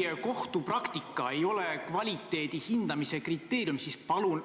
Aga kui kohtupraktika ei ole kvaliteedi hindamise kriteerium, siis palun